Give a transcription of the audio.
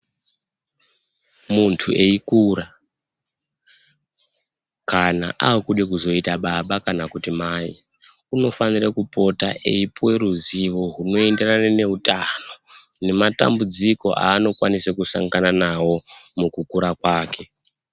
Muntu eikura kana aakude kuzoita baba kana kuti mai, unofanire kupota eipuwe ruzivo rwunoenderana neutano, nematambudziko aanokwanise kusangana nawo mukukura kwake.